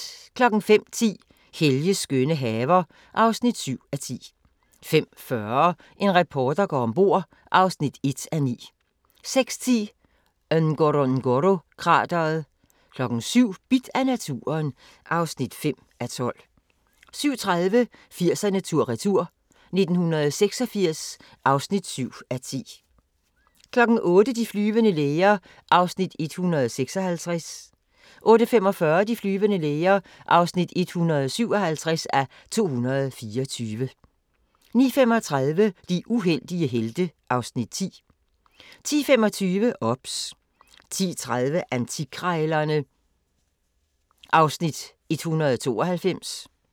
05:10: Helges skønne haver (7:10) 05:40: En reporter går om bord (1:9) 06:10: Ngorongoro-krateret 07:00: Bidt af naturen (5:12) 07:30: 80'erne tur-retur: 1986 (7:10) 08:00: De flyvende læger (156:224) 08:45: De flyvende læger (157:224) 09:35: De uheldige helte (Afs. 10) 10:25: OBS 10:30: Antikkrejlerne (Afs. 192)